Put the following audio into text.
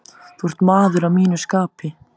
Þú ert maður að mínu skapi.